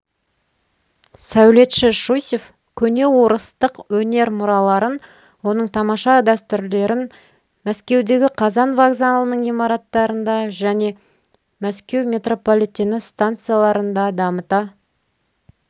сәулетші щусев көне орыстық өнер мұраларын оның тамаша дәстүрлерін мәскеудегі қазан вокзалының имараттарында және мәскеу метрополитені станцияларында дамыта